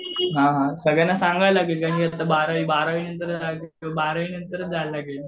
हां हां सगळ्यांना सांगायला लागेल बारावी बारावी नंतरच जायला लागेल.